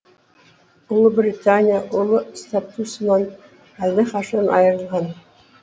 ұлы британия ұлы статусынан әлдеқашан айырылған